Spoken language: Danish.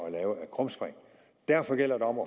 at lave af krumspring derfor gælder det om